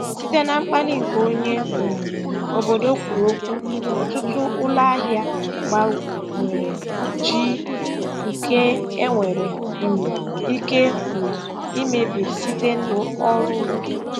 Site na mkpali nke onye um obodo kwuru okwu, ọtụtụ ụlọahịa gbanwere jiw nke e nwere um ike um imebi site n'ọrụ ndụ.